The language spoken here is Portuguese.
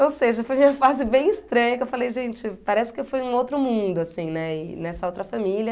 Ou seja, foi uma fase bem estranha, que eu falei, gente, parece que eu fui num outro mundo, assim, né, e nessa outra família.